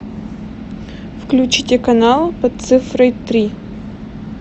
включите канал под цифрой три